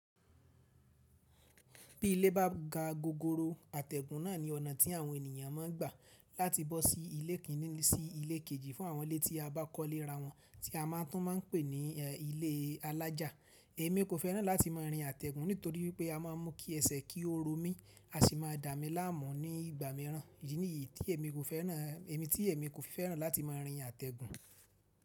Bí ilé bá ga gogoro, àtẹ̀gùn náà ni ọ̀nà tí àwọn ènìyàn ma ń gbà láti bọ́ sí ilé kìnní sí ilé kejì fún àwọn ilé tí a bá kọ́lé ra wọn tí a máa tún máa ń pè ní ilé alájà. Èmi kò fẹ́ràn láti máa rin àtẹ̀gùn nítorí pé a máa ń mú kí ẹsẹ̀ kí ó ro mí, a sì máa dà mí láàmú ní ìgbà mìíràn. Idí niyí tí èmi kò fẹ́ràn, èmi tí èmi kò fi fẹ́ràn láti máa rin àtẹ̀gùn.